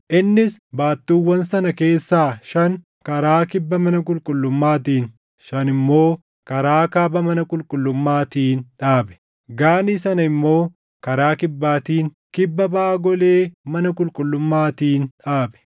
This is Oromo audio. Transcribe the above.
Innis baattuuwwan sana keessaa shan karaa kibba mana qulqullummaatiin, shan immoo karaa kaaba mana qulqullummaatiin dhaabe. Gaanii sana immoo karaa kibbaatiin, kibba baʼa golee mana qulqullummaatiin dhaabe.